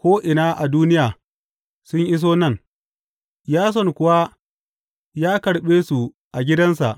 ko’ina a duniya sun iso nan, Yason kuwa ya karɓe su a gidansa.